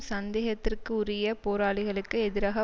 சந்தேகத்திற்கு உரிய போராளிகளுக்கு எதிராக